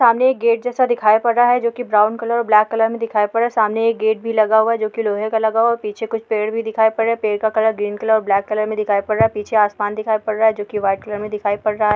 सामने एक गेट जैसा दिखाई पड़ रहा हैं जोकि ब्राउन कलर और ब्लैक कलर में दिखाई पड़ रहा हैं सामने एक गेट भी लगा हुआ है जोकि लोहे का लगा हुआ हैं पीछे कुछ पेड़ भी दिखाई पड़ रहे हैं पेड़ का कलर ग्रीन कलर और ब्लैक कलर में दिखाई पड़ रहा हैं पीछे आसमान दिखाई पड़ रहा है जोकि वाइट कलर में दिखाई पड़ रहा हैं।